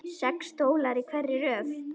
Sex stólar í hverri röð.